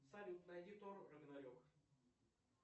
салют найди тор рагнарек